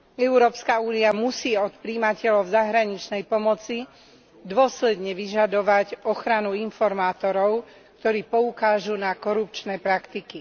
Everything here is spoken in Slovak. Európska únia musí od prijímateľov zahraničnej pomoci dôsledne vyžadovať ochranu informátorov, ktorí poukážu na korupčné praktiky.